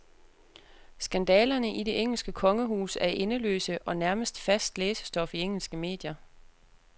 Skandalerne i det engelske kongehus er endeløse og nærmest fast læsestof i engelske medier.